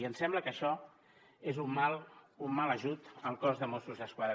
i em sembla que això és un mal ajut al cos de mossos d’esquadra